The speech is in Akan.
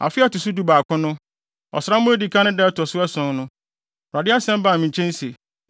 Afe a ɛto so dubaako no, ɔsram a edi kan no da a ɛto so ason no, Awurade asɛm baa me nkyɛn se: